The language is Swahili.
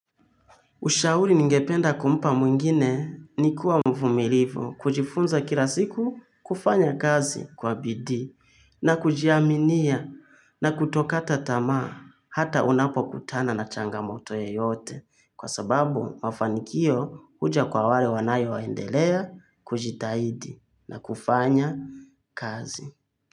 Ushauri ningependa kumpa mwingine ni kuwa mvumilivu kujifunza kila siku kufanya kazi kwa bidii na kujiaminia na kutokata tamaa hata unapokutana na changamoto yeyote kwa sababu mafanikio huja kwa wale wanayoendelea kujitahidi na kufanya kazi.